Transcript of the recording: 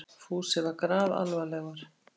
Fúsi var grafalvarlegur.